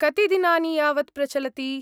कति दिनानि यावत् प्रचलति?